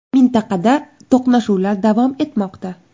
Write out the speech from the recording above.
Mintaqada to‘qnashuvlar davom etmoqda.